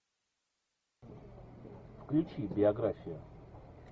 включи биографию